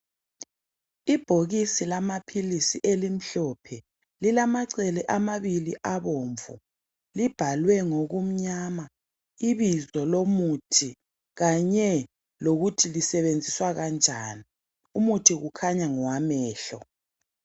Ibhokisi lamaphilisi elimhlophe. Lilamacele amabili abomvu. Libhalwe ngokumnyama ibizo lomuthi kanye lokuthi lisebenziswa kanjani. Umuthi kukhanya ngowamehlo.